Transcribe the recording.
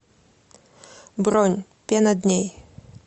бронь пена дней